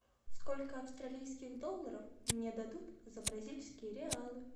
сколько австралийских долларов мне дадут за бразильские реалы